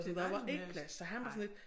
Der var ikke plads så han var sådan lidt